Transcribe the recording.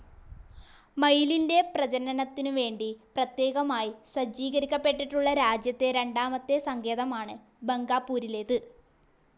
മയിലിൻ്റെ പ്രജനനത്തിനുവേണ്ടി പ്രത്യേകമായി സജ്ജീകരിക്കപ്പെട്ടിട്ടുളള രാജ്യത്തെ രണ്ടാമത്തെ സങ്കേതമാണ് ബങ്ഗാപൂരിലേത്.